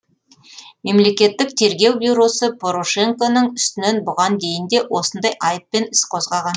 мемлекеттік тергеу бюросы порошенконың үстінен бұған дейін де осындай айыппен іс қозғаған